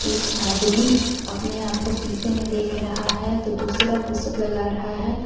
एक आदमी अपने आप को शीशे में देख रहा है तो दूसरा पुसअप लग रहा है.